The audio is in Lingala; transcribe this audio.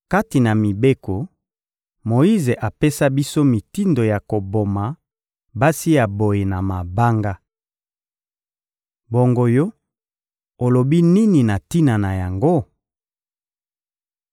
Kati na mibeko, Moyize apesa biso mitindo ya koboma basi ya boye na mabanga. Bongo yo, olobi nini na tina na yango?